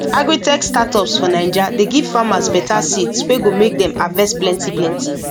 agritech startups for naija dey give farmers better seeds wey go make dem harvest plenty plenty